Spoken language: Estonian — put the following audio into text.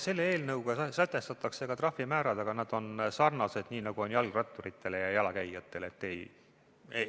Selle eelnõuga sätestatakse ka trahvimäärad, aga nad on sarnased, nii nagu on kehtestatud jalgratturitele ja jalakäijatele.